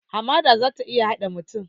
Hamada za ta iya haɗe mutum